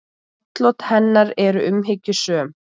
Atlot hennar eru umhyggjusöm.